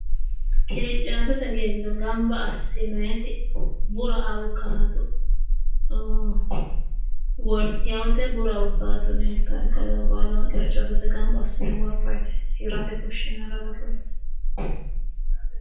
Qiricaatete giddo gamba assinoonniti bura awukaato wortewooti bura awukaato leeltaae kawaa baalawa qiriccoho gamba assine worroonniti hirate fushshinara worroonniti.